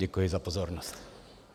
Děkuji za pozornost.